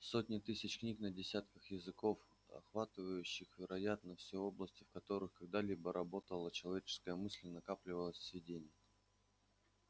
сотни тысяч книг на десятках языков охватывающих вероятно все области в которых когда-либо работала человеческая мысль и накапливались сведения